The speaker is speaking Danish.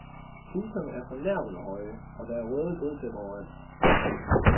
Priserne er fornærmende høje, og der er røde gulvtæpper overalt.